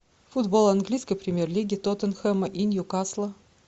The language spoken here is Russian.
футбол английской премьер лиги тоттенхэма и ньюкасла